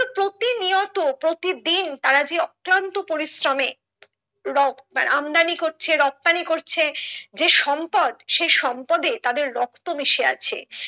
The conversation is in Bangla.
মতো প্ৰতিদিন তারা যে অক্লান্ত পরিশ্রমে রো মানে আমদানি করছে রপ্তানি করছে যে সম্পদ সে সম্পদে তাদের রক্ত মিশে আছে